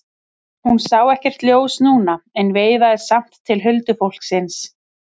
Hún sá ekkert ljós núna en veifaði samt til huldufólksins.